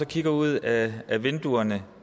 kigger ud ad vinduerne